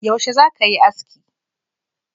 Yaushe za ka yi aski?